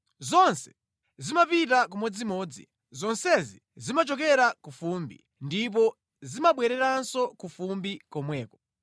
Zonse zimapita kumodzimodzi; zonsezi zimachokera ku fumbi, ndipo zimabwereranso ku fumbi komweko.